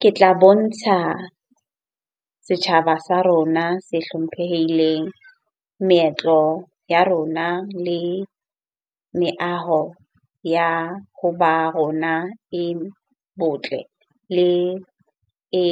Ke tla bontsha setjhaba sa rona se hlomphehileng meetlo ya rona le meaho ya hoba rona e botle le e